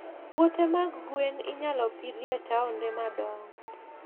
Puothe mag gwen inyalo pidhi e taonde madongo.